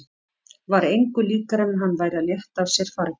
Var engu líkara en hann væri að létta af sér fargi.